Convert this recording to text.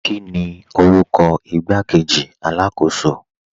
Kíni orúkọ ìgbàkọ̀wé alákọ̀sò?